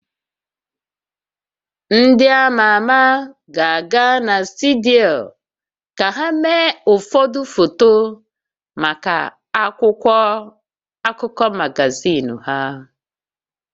Ndị a ma ama ga-aga na studio ka ha mee ụfọdụ foto maka akwụkwọ akụkọ magazin ha